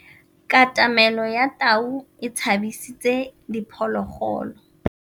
Katamêlô ya tau e tshabisitse diphôlôgôlô.